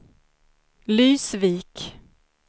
Lysvik